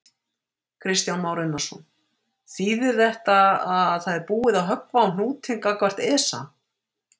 Kristján Már Unnarsson: Þýðir þetta að það er búið að höggva á hnútinn gagnvart ESA?